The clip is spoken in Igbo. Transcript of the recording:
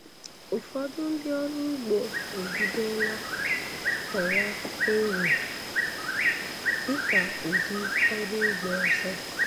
Ụfọdụ ndị ọrụ ụgbo ebidola kọwa ero dịka ụdị ọrụ ugbo ọzọ